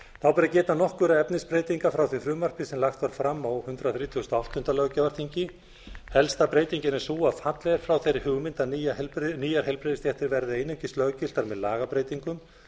að geta nokkurra efnisbreytinga frá því frumvarpi sem lagt var fram á hundrað þrítugasta og áttunda löggjafarþingi helsta breytingin er sú að fallið er frá þeirri hugmynd að nýjar heilbrigðisstéttir verði einungis löggiltar með lagabreytingum